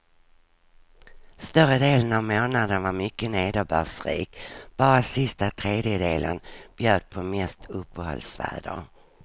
Större delen av månaden var mycket nederbördsrik, bara sista tredjedelen bjöd på mest uppehållsväder.